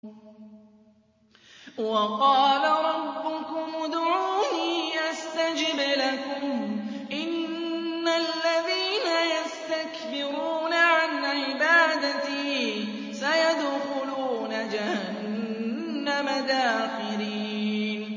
وَقَالَ رَبُّكُمُ ادْعُونِي أَسْتَجِبْ لَكُمْ ۚ إِنَّ الَّذِينَ يَسْتَكْبِرُونَ عَنْ عِبَادَتِي سَيَدْخُلُونَ جَهَنَّمَ دَاخِرِينَ